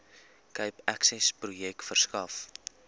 cape accessprojek verskaf